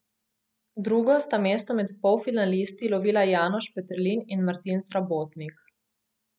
V drugo sta mesto med polfinalisti lovila Janoš Peterlin in Martin Srabotnik.